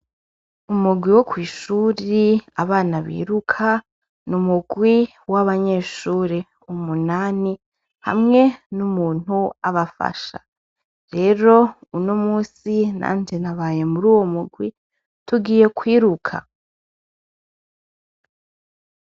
Mu murwi wo kwishure abana biruka numurwi wabanyeshure umunani hamwe numuntu abafasha rero uno munsi nanje nabayemwo muruwo murwi tugiye kwiruka